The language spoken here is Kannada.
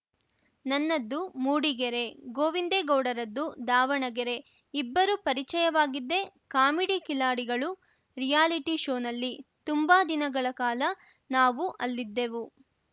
ನನ್ನದ್ದು ಮೂಡಿಗೆರೆ ಗೋವಿಂದೇ ಗೌಡರದ್ದು ದಾವಣಗೆರೆ ಇಬ್ಬರು ಪರಿಚಯವಾಗಿದ್ದೇ ಕಾಮಿಡಿ ಕಿಲಾಡಿಗಳು ರಿಯಾಲಿಟಿ ಶೋನಲ್ಲಿ ತುಂಬಾ ದಿನಗಳ ಕಾಲ ನಾವು ಅಲ್ಲಿದ್ದೆವು